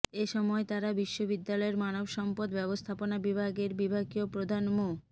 এ সময় তারা বিশ্ববিদ্যালয়ের মানব সম্পদ ব্যবস্থাপনা বিভাগের বিভাগীয় প্রধান মো